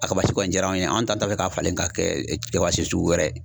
A kabasi kɔni diyara anw ye an t'an ta fɛ k'a falen ka kɛ kabasi sugu wɛrɛ ye.